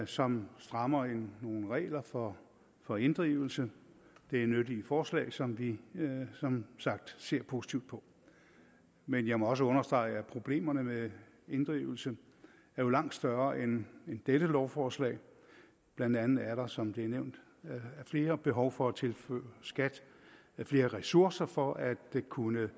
som strammer nogle regler for for inddrivelse det er nyttige forslag som vi som sagt ser positivt på men jeg må også understrege at problemerne med inddrivelse jo er langt større end dette lovforslag blandt andet er der som det er nævnt af flere behov for at tilføre skat flere ressourcer for at kunne